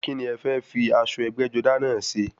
Kíni ẹ fẹ́ fi aṣọ ẹgbẹ́-jọdá náà ṣe?